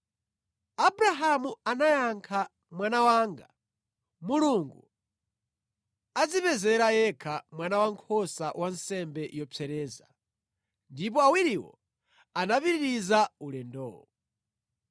Abrahamu anayankha, “Mwana wanga, Mulungu adzipezera yekha mwana wankhosa wa nsembe yopsereza.” Ndipo awiriwo anapitiriza ulendo.